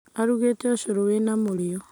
Arugĩte ũcũrũwĩna mũrĩo